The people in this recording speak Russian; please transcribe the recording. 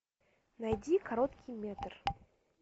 найди короткий метр